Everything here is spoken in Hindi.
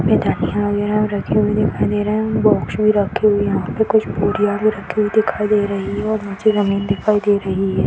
धनिया वगैरा भी रखी हुई दिखाई दे रही है और बॉक्स भी रखे हुए है वहां पे कुछ बोरियाँ भी रखी हुई दिखाई दे रही है और नीचे जमीन दिखाई दे रही है।